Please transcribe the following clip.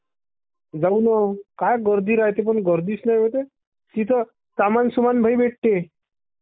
जाऊ नं...काय गरदी राह्यत्ये पण गर्दीच...तिथं सामान सुमान लई भेटते......